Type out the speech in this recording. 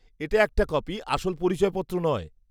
-এটা একটা কপি, আসল পরিচয়পত্র নয়।